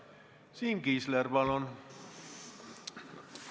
Siim Kiisler, palun!